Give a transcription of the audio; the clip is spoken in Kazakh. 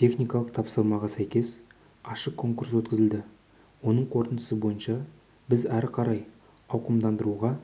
техникалық тапсырмаға сәйкес ашық конкурс өткізілді оның қорытындысы бойынша біз ары қарай ауқымдандыруға